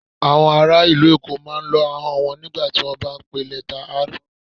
Awọn ara ilu Èkó máa ń lọ́ ahọn wọn nigba ti wọn ba n pe lẹta R.